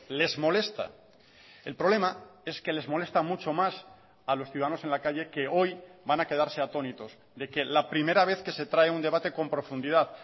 les molesta el problema es que les molesta mucho más a los ciudadanos en la calle que hoy van a quedarse atónitos de que la primera vez que se trae un debate con profundidad